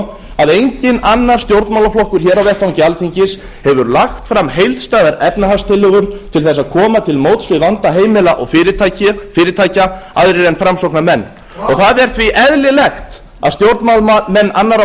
svo að enginn annar stjórnmálaflokkur hér á vettvangi alþingis hefur lagt fram heildstæðar efnahagstillögur til þess að koma til móts við vanda heimila og fyrirtækja aðrir en framsóknarmenn það er því eðlilegt að stjórnmálamenn annarra